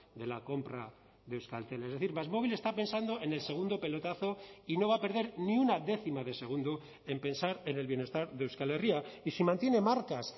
de la compra de euskaltel es decir másmóvil está pensando en el segundo pelotazo y no va a perder ni una décima de segundo en pensar en el bienestar de euskal herria y si mantiene marcas